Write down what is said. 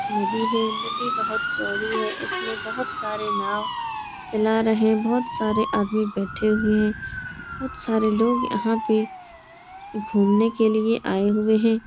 नदी है। नदी बोहोत चौड़ी है। इसमें बोहोत सारे नाव चला रहे हैं। बोहोत सारे आदमी बैठे हुए हैं। बोहोत सारे लोग यहाँ पे घूमने के लिए आए हुए हैं।